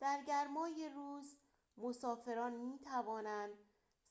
در گرمای روز، مسافران می‌توانند